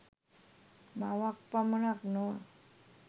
මවක් පමණක් නොව